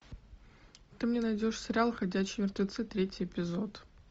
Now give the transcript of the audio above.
ты мне найдешь сериал ходячие мертвецы третий эпизод